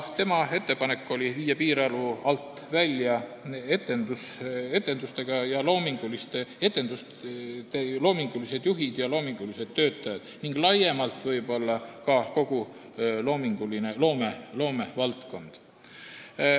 Tema ettepanek oli viia piirarvu alt välja etendusasutuste loomingulised juhid ja loomingulised töötajad ning laiemalt võib-olla kogu loomevaldkond.